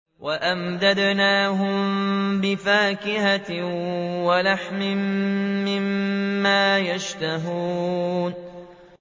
وَأَمْدَدْنَاهُم بِفَاكِهَةٍ وَلَحْمٍ مِّمَّا يَشْتَهُونَ